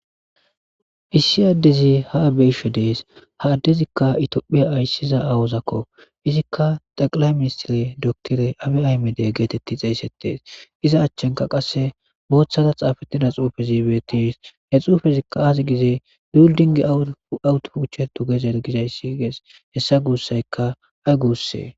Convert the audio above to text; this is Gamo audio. Issi addezi ha beyishe dees ha addezikka itophiya ayssiza awuzakko izikka xaqilay ministire dokitere abi aymede geetetti xeeyssettees iza achchanka qasse booththara xaafettida xuufezi bettesi he xuufezikka aazi gize building our future together giizaysi dess hessa guussayka ay guusse.